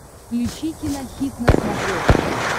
включи кинохит на смотрешке